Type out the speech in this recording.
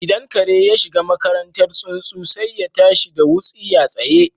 Idan kare ya shiga makarantar tsuntsu, sai ya tashi da wutsiya tsaye